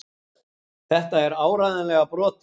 Þetta er áreiðanlega brotið.